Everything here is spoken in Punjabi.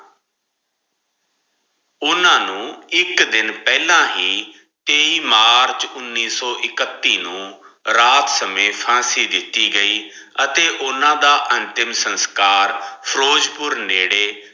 ਓਹਨਾਂ ਨੂੰ ਇਕ ਦਿਨ ਪਹਲਾ ਹੀ ਤੇਈ ਮਾਰਚ ਉਨੀ ਸੋ ਇਕੱਤੀ ਨੂੰ ਰਾਤ ਮੇਂ ਫਾਂਸੀ ਦਿਤੀ ਗਈ ਅਤੇ ਓਨਾ ਦਾ ਅੰਤਿਮ ਸੰਸਕਾਰ ਫਿਰੋਜਪੁਰ ਨੇੜੇ